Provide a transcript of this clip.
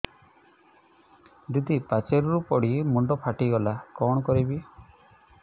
ଦିଦି ପାଚେରୀରୁ ପଡି ମୁଣ୍ଡ ଫାଟିଗଲା କଣ କରିବି